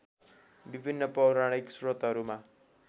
विभिन्न पौराणिक श्रोतहरूमा